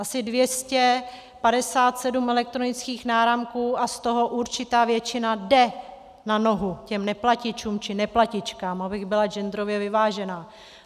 Asi 257 elektronických náramků a z toho určitá většina jde na nohu těm neplatičům či neplatičkám, abych byla genderově vyvážená.